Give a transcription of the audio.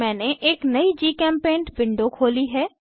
मैंने एक नयी जीचेम्पेंट विंडो खोली है